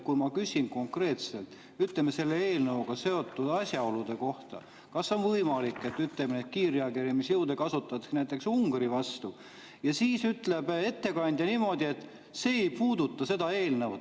Kui ma küsisin konkreetselt selle eelnõuga seotud asjaolude kohta, kas on võimalik, et kiirreageerimisjõude kasutatakse näiteks Ungari vastu, siis ütles ettekandja niimoodi, et see ei puuduta seda eelnõu.